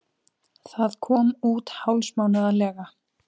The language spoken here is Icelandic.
Það kom út hálfsmánaðarlega.